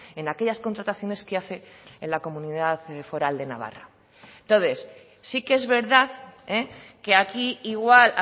en aquellas contrataciones que hace en la comunidad foral de navarra entonces sí que es verdad que aquí igual